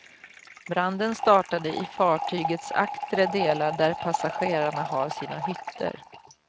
Branden startade i fartygets aktre delar, där passagerarna har sina hytter.